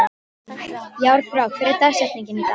Járnbrá, hver er dagsetningin í dag?